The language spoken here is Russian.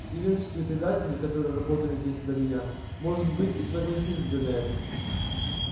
сивеннские предатели которые работали здесь до меня может быть и согласились бы на это